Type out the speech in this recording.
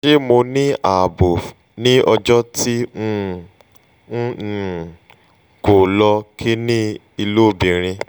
ṣe mo ni aabo ni ọjọ ti um n um ko lo kinni-ilobirin?